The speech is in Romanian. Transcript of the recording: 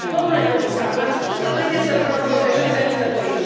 Domnule comisar, ați spus că trebuie să protejăm denunțătorii.